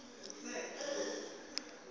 real numbers